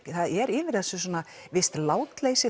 það er yfir þessu visst látleysi